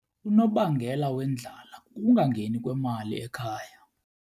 Unobangela wendlala kukungangeni kwemali ekhaya.